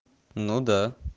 ну да